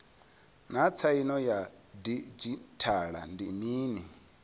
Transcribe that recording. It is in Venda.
naa tsaino ya didzhithala ndi mini